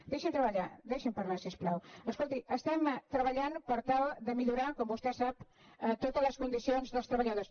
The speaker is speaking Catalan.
deixi’m parlar deixi’m parlar si us plau escolti estem treballant per tal de millorar com vostè sap totes les condicions dels treballadors